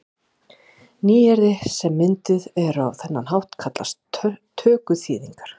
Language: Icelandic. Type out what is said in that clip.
Nýyrði sem mynduð eru á þennan hátt kallast tökuþýðingar.